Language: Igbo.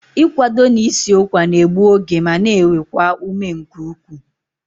Ị kwado na i si ụkwa n'egbu oge ma na ewekwa ume nke ukwuu